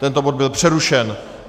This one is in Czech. Tento bod byl přerušen.